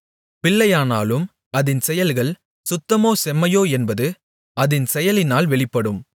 பிள்ளையானாலும் அதின் செயல்கள் சுத்தமோ செம்மையோ என்பது அதின் செயலினால் வெளிப்படும்